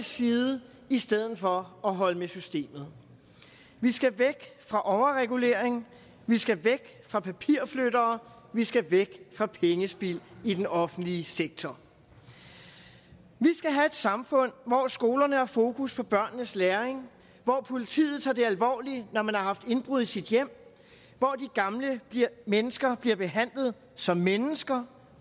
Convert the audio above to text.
side i stedet for at holde med systemet vi skal væk fra overregulering vi skal væk fra papirflyttere vi skal væk fra pengespild i den offentlige sektor vi skal have et samfund hvor skolerne har fokus på børnenes læring hvor politiet tager det alvorligt når man har haft indbrud i sit hjem hvor de gamle mennesker bliver behandlet som mennesker